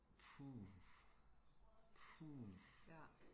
puh puh